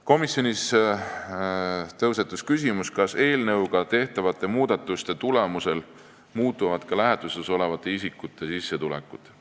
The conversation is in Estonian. Komisjonis tõusetus küsimus, kas eelnõuga tehtavate muudatuste tulemusel muutuvad ka lähetuses olevate isikute sissetulekud.